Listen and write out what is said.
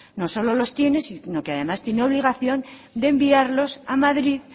no solo los tiene sino que además tiene obligación de enviarlos a madrid